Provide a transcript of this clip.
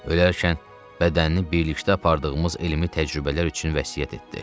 Ölərkən bədənini birlikdə apardığımız elmi təcrübələr üçün vəsiyyət etdi.